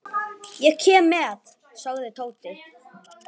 Ég kem með sagði Tóti.